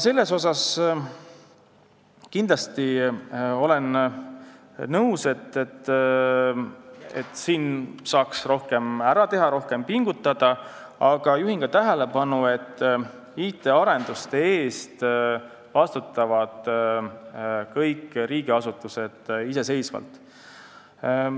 Olen kindlasti nõus, et siin saaks rohkem ära teha, kui rohkem pingutada, aga juhin tähelepanu ka sellele, et IT-arenduste eest vastutavad kõik riigiasutused iseseisvalt.